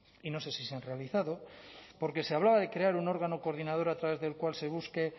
y no sé si se han realizado porque se hablaba de crear un órgano coordinador a través del cual se busque